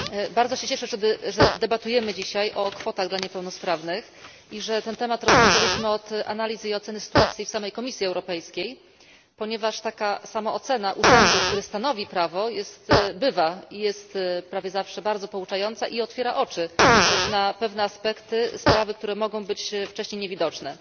Bardzo się cieszę, że debatujemy dzisiaj o kwotach dla niepełnosprawnych i że ten temat rozpoczęliśmy od analizy i oceny sytuacji w samej Komisji Europejskiej, ponieważ taka samoocena urzędu, który stanowi prawo, bywa i jest prawie zawsze bardzo pouczająca i otwiera oczy na pewne aspekty sprawy, które mogły być wcześniej niewidoczne.